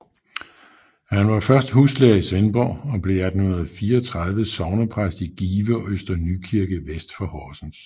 Han var først huslærer i Svendborg og blev i 1834 sognepræst i Give og Øster Nykirke vest for Horsens